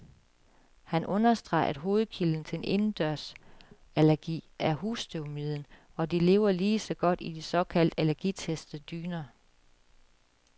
Han understreger, at hovedkilden til indendørsallergi er husstøvmiden, og de lever lige så godt i de såkaldt allergitestede dyner.